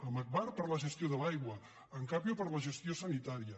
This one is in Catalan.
amb agbar per la gestió de l’aigua amb capio per la gestió sanitària